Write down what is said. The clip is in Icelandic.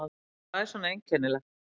Hvað er svona einkennilegt?